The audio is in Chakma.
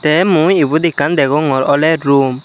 te mui ebot ekkan degogor ole room.